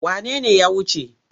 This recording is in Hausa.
Wane ne ya wuce?